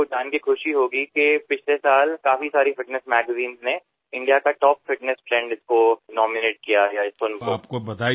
आपल्याला ऐकून आनंद वाटेल की गेल्यावर्षी आरोग्य विषयाला समर्पित अनेक मासिकांमध्ये भारतातील टॉप फिटनेस ट्रेंड म्हणून या गमतीदार प्रकाराला चक्क नामांकन मिळाले आहे